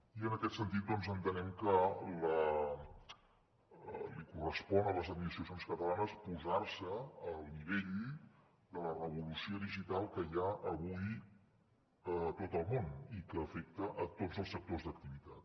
i en aquest sentit doncs entenem que els correspon a les administracions catalanes posar se al nivell de la revolució digital que hi ha avui a tot el món i que afecta tots els sectors d’activitat